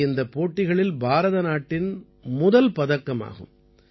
இது இந்தப் போட்டிகளில் பாரத நாட்டின் முதல் பதக்கம் ஆகும்